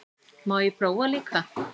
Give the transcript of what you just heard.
Má ég prófa líka!